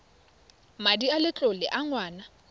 madi a letlole a ngwana